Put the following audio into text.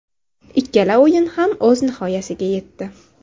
Ikkala o‘yin ham o‘z nihoyasiga yetdi.